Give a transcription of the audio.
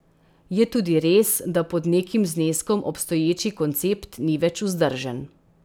Je tudi res, da pod nekim zneskom obstoječi koncept ni več vzdržen.